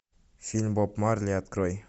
фильм боб марли открой